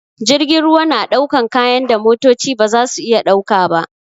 Jirgin ruwa na dakon kayan da motoci ba za su iya dauka ba.